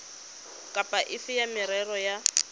kapa efe ya merero ya